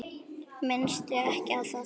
Minnstu ekki á það.